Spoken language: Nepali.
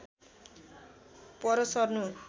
पर सर्नु